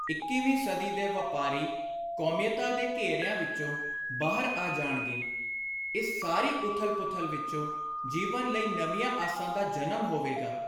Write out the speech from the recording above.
ਇੱਕੀਵੀਂ ਸਦੀ ਦੇ ਵਾਪਾਰੀ ਕੌਮੀਅਤਾਂ ਦੇ ਘੇਰਿਆਂ ਵਿਚੋਂ ਬਾਹਰ ਆ ਜਾਣਗੇ। ਇਸ ਸਾਰੀ ਉਥਲ-ਪੁਥਲ ਵਿਚੋਂ ਜੀਵਨ ਲਈ ਨਵੀਆਂ ਆਸਾਂ ਦਾ ਜਨਮ ਹੋਵੇਗਾ।